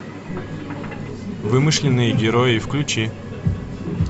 вымышленные герои включи